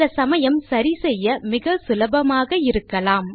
சில சமயம் சரி செய்ய மிகச்சுலபமாக இருக்கலாம்